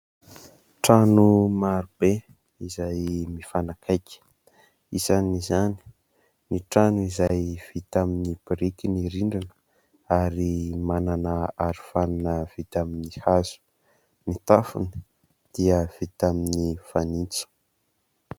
Trano maro be izay mifanakaiky. Isan'izany ny trano izay vita amin'ny biriky ny rindrina ary manana arofanina vita amin'ny hazo, ny tafony dia vita amin'ny fanitso.